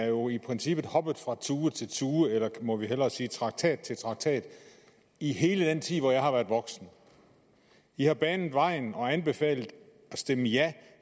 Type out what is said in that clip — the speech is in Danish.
jo i princippet er hoppet fra tue til tue eller må vi hellere sige fra traktat til traktat i hele den tid hvor jeg har været voksen de har banet vejen for og anbefalet at stemme ja